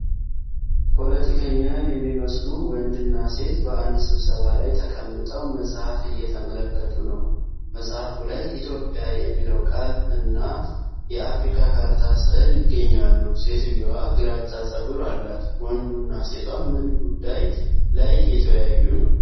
ፖለቲከኛ የሚመስሉ ወንድና ሴት በአንድ ስብሰባ ላይ ተቀምጠው መጽሐፍ እየተመለከቱ ነው። መጽሐፉ ላይ "ኢትዮጲያ" የሚለው ቃል እና የአፍሪካ ካርታ ሥዕል ይገኛሉ። ሴትዮዋ ግራጫ ፀጉር አላት። ወንዱ እና ሴቷ ምን ጉዳይ ላይ እየተወያዩ ነው?